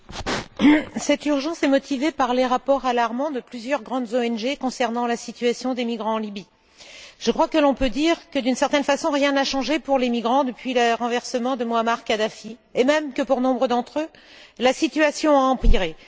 Monsieur le Président, c'est urgent et c'est motivé par les rapports alarmants de plusieurs grandes ONG concernant la situation des migrants en Libye. Je crois que l'on peut dire que, d'une certaine façon, rien n'a changé pour les migrants depuis le renversement de Mouammar Kadhafi et que pour nombre d'entre eux, la situation a même empiré.